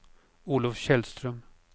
Olov Källström